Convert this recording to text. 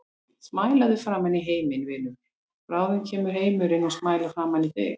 Smælaðu framan í heiminn, vinur, bráðum kemur heimurinn og smælar framan í þig.